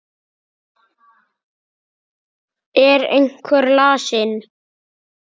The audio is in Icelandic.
Er einhver lasinn?